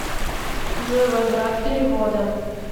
джой возврат перевода